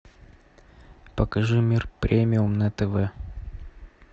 покажи мир премиум на тв